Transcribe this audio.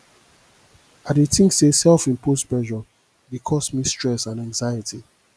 i dey think say self imposed pressure dey cause me stress and anxiety